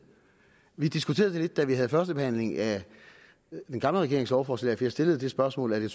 vi diskuterede det lidt da vi havde første behandling af den gamle regerings lovforslag jeg stillede det spørgsmål at jeg